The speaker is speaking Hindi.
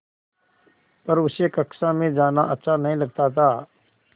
पर उसे कक्षा में जाना अच्छा नहीं लगता था